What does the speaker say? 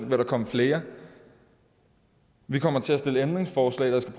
vil der komme flere vi kommer til at stille ændringsforslag der skal